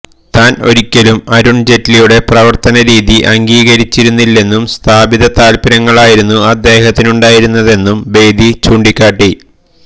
താന് ഒരിക്കലും അരുണ് ജെയ്റ്റ്ലിയുടെ പ്രവര്ത്തന രീതി അംഗീകരിച്ചിരുന്നില്ലെന്നും സ്ഥാപിത താല്പ്പര്യങ്ങളായിരുന്നു അദ്ദേഹത്തിനുണ്ടായിരുന്നതെന്നും ബേദി ചൂണ്ടിക്കാട്ടി